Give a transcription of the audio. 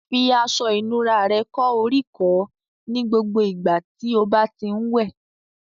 Fi aṣọ ìnura rẹ kó oríkọ̀ọ́ ní gbogbo ìgbà tí o bá ti ń wẹ̀